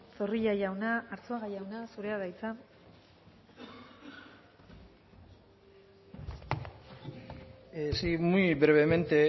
zorrilla jauna arzuaga jauna zurea da hitza sí muy brevemente